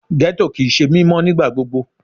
Ghetto kii ṣe mimọ nigbagbogbo